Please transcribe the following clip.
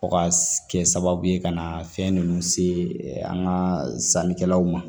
Fɔ ka kɛ sababu ye ka na fɛn ninnu se an ka sannikɛlaw ma